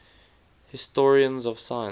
historians of science